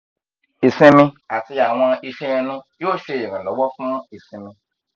isinmi ati awọn iṣan ẹnu yoo ṣe iranlọwọ fun isimi